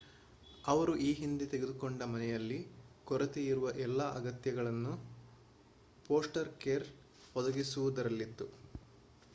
ಅವರು ಈ ಹಿಂದೆ ತೆಗೆದುಕೊಂಡ ಮನೆಯಲ್ಲಿ ಕೊರತೆಯಿರುವ ಎಲ್ಲಾ ಅಗತ್ಯಗಳನ್ನು ಫೋಸ್ಟರ್ ಕೇರ್ ಒದಗಿಸುವುದರಲ್ಲಿತ್ತು